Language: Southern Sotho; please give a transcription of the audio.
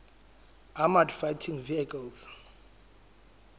armoured fighting vehicles